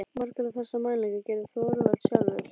Margar þessara mælinga gerði Þorvaldur sjálfur.